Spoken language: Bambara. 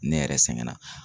Ne yɛrɛ sɛgɛn na.